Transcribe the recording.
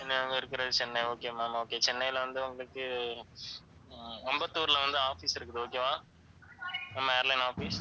நாங்க இருக்கிறது Chennai okay ma'am okay சென்னையில வந்து உங்களுக்கு அஹ் அம்பத்தூர்ல வந்து office இருக்குது okay வா நம்ம airline office